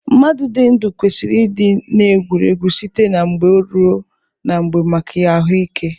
Mmadụ dị ndụ kwesiri ị dị na-egwuriegwu site na mgbe ruo na mgbe maka ahụike.